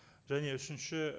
және үшінші